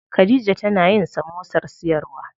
Khadija tana yin samosar siyarwa.